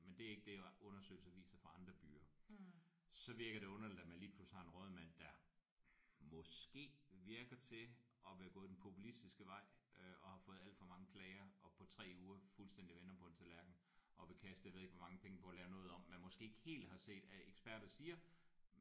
Men det er ikke det undersøgelser viser fra andre byer. Så virker det underligt at man lige pludselig har en rådmand der måske virker til at vil gå den populistiske vej øh og har fået alt for mange klager og på 3 uger fuldstændigt vender på en tallerken og vil kaste jeg ved ikke hvor mange penge på at lave noget om man måske ikke helt har set at eksperter siger